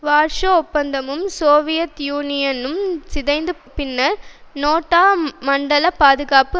Warsaw ஒப்பந்தமும் சோவியத்யூனியனும் சிதைந்த பின்னர் நேட்டோ மண்டல பாதுகாப்பு